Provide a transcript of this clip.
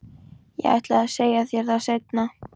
Ég ætlaði að segja þér það seinna.